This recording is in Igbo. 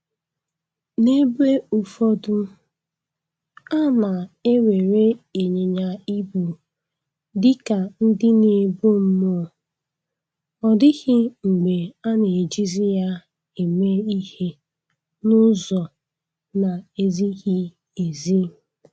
N'ebe ụfọdụ, a na-ewere ịnyịnya ibu dị ka ndị na-ebu mmụọ, ọ dịghị mgbe a na-ejizi ya eme ihe n'ụzọ na-ezighị ezi.